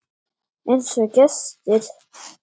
Einsog gestir.